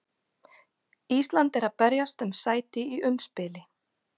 Ísland er að berjast um sæti í umspili.